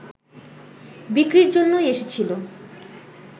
বিক্রির জন্যই এসেছিল